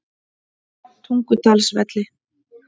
Tungudalsvelli